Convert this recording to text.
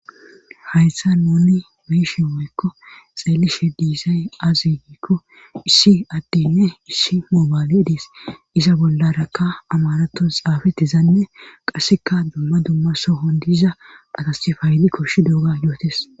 hayssa nuni be'iiishe woykko xeelishe diisay azugikko issi addinne issi moobayle diis iza bollarakka amaratos xaafettizanne qasseka dumma dumma sohon diza atasofaayli koshshi duuga yootes